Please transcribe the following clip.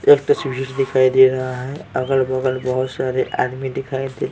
एक तस्वीर दिखाई दे रहा है अगल-बगल बहुत सारे आदमी दिखाई दे --